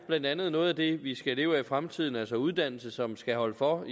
blandt andet er noget af det som vi skal leve af i fremtiden altså uddannelse som skal holde for